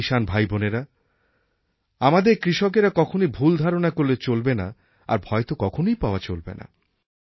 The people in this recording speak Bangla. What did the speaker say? আমার কিষান ভাইবোনেরা আমাদের কৃষকেরা কখনই ভুল ধারণা করলে চলবে না আর ভয় তো কখনই পাওয়া চলবে না